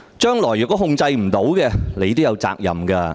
日後若無法控制市民的怒火，你也有責任。